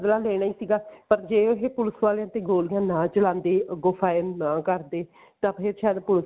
ਬਦਲਾ ਲੈਣਾ ਸੀਗਾ ਪਰ ਜੇ ਇਹ ਪੁਲਸ ਵਾਲਿਆਂ ਤੇ ਗੋਲੀ ਨਾ ਚਲਾਉਂਦੇ ਅੱਗੋਂ firing ਨਾ ਕਰਦੇ ਤਾਂ ਫ਼ੇਰ ਸ਼ਾਇਦ ਪੁਲਸ